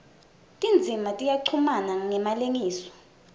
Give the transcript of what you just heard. tindzima tiyachumana ngemalengiso